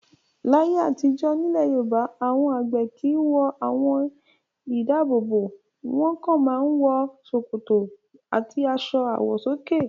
Láyé àtijọ́, nílẹ̀ Yorùbá àwọn àgbẹ̀ kì í àwọn aṣọ-ìdáàbòbò. Wọ́n kàn máa ń wọ ṣòkòtò àti aṣọ àwọ̀sókè.